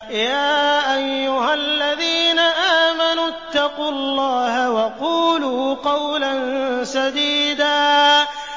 يَا أَيُّهَا الَّذِينَ آمَنُوا اتَّقُوا اللَّهَ وَقُولُوا قَوْلًا سَدِيدًا